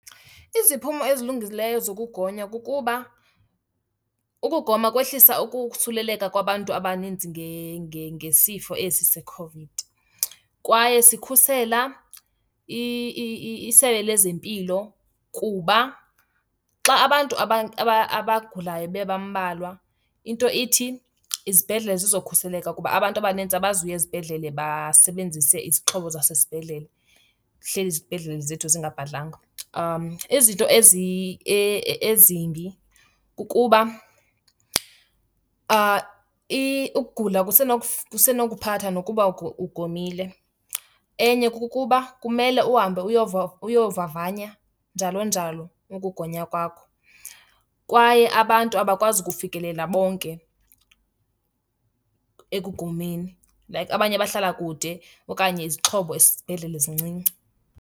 Iziphumo ezilungileyo zokugonya kukuba ukugoma kwehlisa ukusuleleka kwabantu abaninzi ngesifo esi seCOVID. Kwaye sikhusela iSebe lezeMpilo kuba xa abantu abagulayo bebambalwa, into ithi izibhedlele zizokhuseleka kuba abantu abanintsi abazuya ezibhedlele basebenzise izixhobo zasesibhedlele, zihleli izibhedlele zethu zingabhadlanga. Izinto ezimbi kukuba ukugula kusenokuphatha nokuba ugomile. Enye kukuba kumele uhambe uyovavanya njalo njalo ukugonywa kwakho kwaye abantu abakwazi ukufikelela bonke ekugomeni. Like abanye bahlala kude okanye izixhobo esibhedlele zincinci.